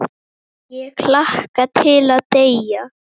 Ég hlakka til að deyja.